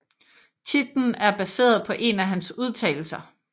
Titlen er baseret på en af hans udtalelser